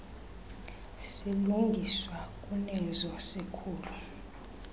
silungiswa kunezo zikhulu